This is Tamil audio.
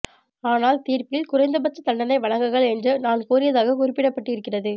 ஆனால் தீர்ப்பில் குறைந்த பட்ச தண்டனை வழங்குகள் என்று நான் கூறியதாக குறிப்பிடப்பட்டு இருக்கிறது